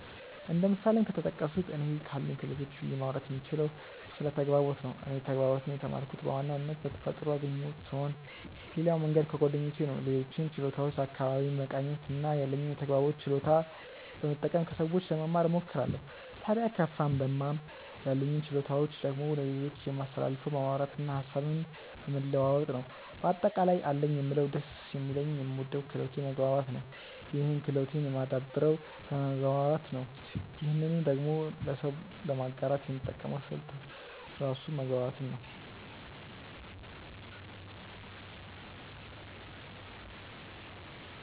እንደ ምሳሌም ከተጠቀሱት እኔ ካሉኝ ክህሎቶች ብዬ ማውራት የምችለው ስለ ተግባቦት ነው። እኔ ተግባቦትን የተማርኩት በዋናነት በተፈጥሮ ያገኘሁት ስሆን ሌላው መንገድ ከጓደኞቼ ነው። ሌሎችን ችሎታዎች አካባቢዬን በመቃኘት እና ያለኝን የተግባቦት ችሎታ በመጠቀም ከሰዎች ለመማ እሞክራለው። ታድያ ከፋም ለማም ያሉኝን ችሎታዎች ደግሞ ለሌሎች የማስተላልፈው በማውራት እና ሀሳብን በመለዋወጥ ነው። በአጠቃላይ አለኝ የምለው ደስ የሚለኝ የምወደው ክህሎቴ መግባባት ነው ይህን ክህሎቴን የማደብረው በመግባባት ነው ይህንኑ ደግሞ ለሰው ለማጋራት የምጠቀመው ስልት ራሱ መግባባትን ነው።